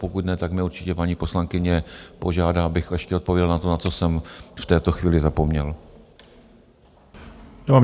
Pokud ne, tak mě určitě paní poslankyně požádá, abych ještě odpověděl na to, na co jsem v této chvíli zapomněl.